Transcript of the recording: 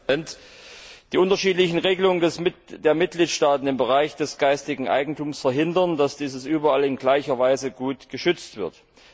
Herr Präsident! Die unterschiedlichen Regelungen der Mitgliedstaaten im Bereich des geistigen Eigentums verhindern, dass dieses überall in gleicher Weise gut geschützt wird.